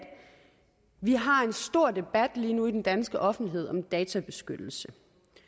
vi har en stor debat lige nu i den danske offentlighed om databeskyttelse